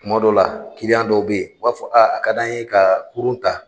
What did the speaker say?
Tuma dɔ la dɔw bɛ yen u b'a fɔ an ɲɛna k'an ka kurun ta!